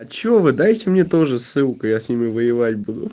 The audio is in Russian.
а что вы дайте мне тоже ссылку я с ними воевать буду